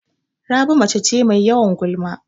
Rabi mace ce Mai yawan gulma